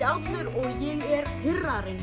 og ég er